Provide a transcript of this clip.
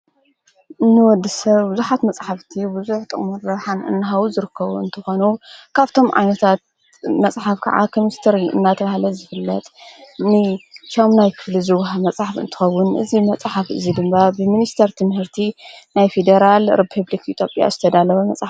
ንወዲ ሰብ ብዙኃት መጽሕፍቲ ብዙኅ ጠሙን ረብሓን እንሃዊ ዝርከዉን እንተኾኑ ካብቶም ዓነታት መጽሕፍ ከዓ ኸምስር እናተልሃለት ዝፍለጥ ን ሻምናይ ክፍሊ ዝውህ መጽሕፍ እንተኸውን እዙ መጽሓፍ እዙይ ድምባ ብምንስተር ትምህርቲ ናይ ፌዴራል ርፑብልኽ ኢትዮጵያ ዝተዳለወ መጽሓፍ እዩ::